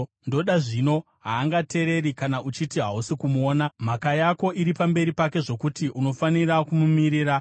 Ndoda, zvino, haangateereri kana uchiti hausi kumuona, mhaka yako iri pamberi pake zvokuti unofanira kumumirira,